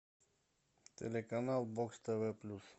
телеканал бокс тв плюс